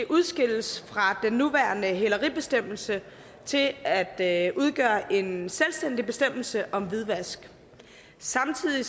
udskilles fra den nuværende hæleribestemmelse til at at udgøre en selvstændig bestemmelse om hvidvask samtidig